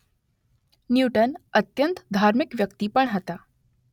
Newton અત્યંત ધાર્મિક વ્યક્તિ પણ હતા.